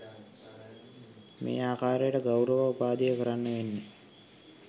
මේ ආකාරයට ගෞරව උපාධිය කරන්න වෙන්නේ